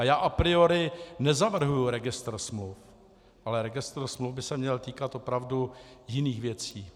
A já a priori nezavrhuji registr smluv, ale registr smluv by se měl týkat opravdu jiných věcí.